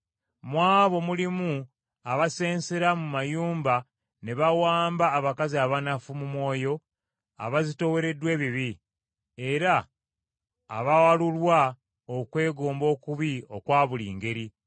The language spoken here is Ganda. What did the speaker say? Mu abo mulimu abasensera mu mayumba ne bawamba abakazi abanafu mu mwoyo abazitoowereddwa ebibi, era abawalulwa okwegomba okubi okwa buli ngeri,